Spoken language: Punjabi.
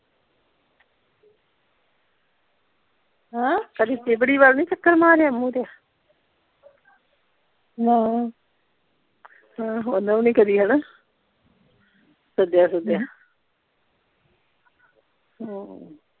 ਹਾਂ ਕਦੀ ਤਿਬੜੀ ਵੱਲ ਨਹੀਂ ਚੱਕਰ ਮਾਰਿਆ ਮੁਰਿਆ ਨਾ ਓਹਨਾਂ ਵੀ ਨਹੀਂ ਕਦੀ ਹਣਾ ਸੱਦਿਆ ਸੁੱਦਿਆ ਹਮ